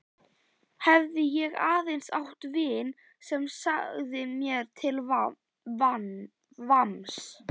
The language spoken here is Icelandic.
Hefði ég aðeins átt vin sem sagði mér til vamms.